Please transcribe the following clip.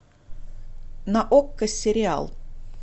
на окко сериал